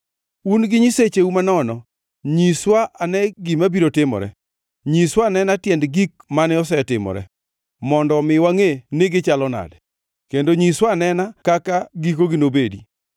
Un nyisecheu manono, nyiswa anena gima biro timore. Nyiswa anena tiend gik mane osetimore, mondo omi wangʼe ni gichalo nade, kendo nyiswa anena kaka gikogi nobedi. Kata nyiswa anena gik mabiro timore,